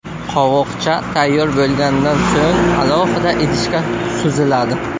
Qovoqcha tayyor bo‘lgandan so‘ng alohida idishga suziladi.